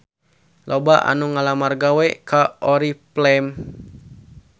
Loba anu ngalamar gawe ka Oriflame